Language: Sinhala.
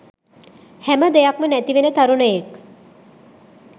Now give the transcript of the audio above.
හැම දෙයක්ම නැතිවෙන තරුණයෙක්